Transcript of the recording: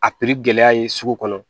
A piri gɛlɛya ye sugu kɔnɔ